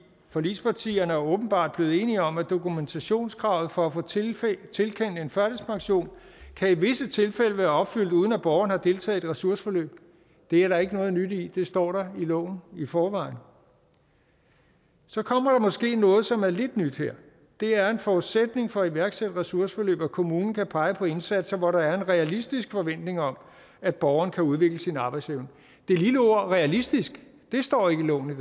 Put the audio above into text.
forligspartierne er åbenbart blevet enige om at dokumentationskravet for at få tilkendt tilkendt en førtidspension i visse tilfælde kan være opfyldt uden at borgeren har deltaget i et ressourceforløb det er der ikke noget nyt i det står der i loven i forvejen så kommer der måske noget som er lidt nyt her det er en forudsætning for at iværksætte ressourceforløb at kommunen kan pege på indsatser hvor der er en realistisk forventning om at borgeren kan udvikle sin arbejdsevne det lille ord realistisk står ikke i loven i